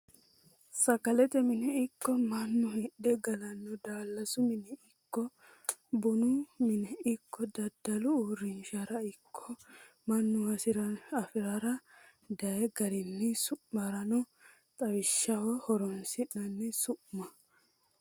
Sagalete mine ikko mannu hidhe gallano daalasu mine ikko bunu mine ikko daddalu uurrinshara ikko mannu hasirinna afiisira dayi garinni su'mirano xawishshaho horonsi'nanni su'ma.